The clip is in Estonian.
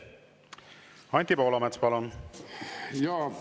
Anti Poolamets, palun!